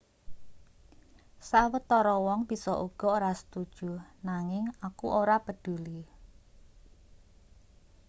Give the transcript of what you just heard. sawetara wong bisa uga ora setuju nanging aku ora peduli